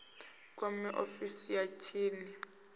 kwame ofisi ya tsini ya